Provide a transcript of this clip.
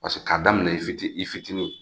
Paseke k'a daminɛ i fiti i fitinin